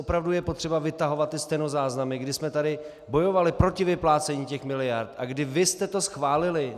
Opravdu je potřeba vytahovat ty stenozáznamy, kdy jsme tady bojovali proti vyplácení těch miliard a kdy vy jste to schválili?